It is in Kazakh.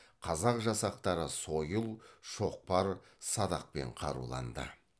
қазақ жасақтары сойыл шоқпар садақпен қаруланды